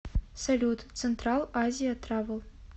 салют централ азия травел